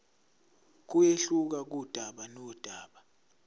kuyehluka kudaba nodaba